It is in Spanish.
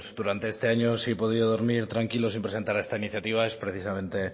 durante este año si he podido dormir tranquilo sin presentar esta iniciativa es precisamente